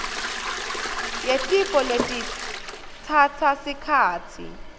yetifo letitsatsa sikhatsi